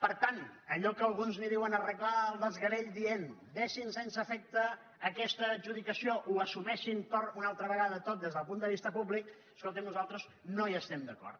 per tant amb allò que alguns en diuen arreglar el desgavell dient deixin sense efecte aquesta adjudicació o assumeixin ho una altra vegada tot des del punt de vista públic escolti’m nosaltres no hi estem d’acord